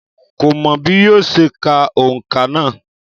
Kò mò bí yóò ṣe ka òǹkà náà